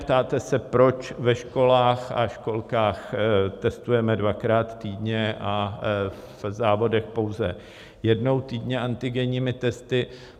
Ptáte se, proč ve školách a školkách testujeme dvakrát týdně a v závodech pouze jednou týdně antigenními testy.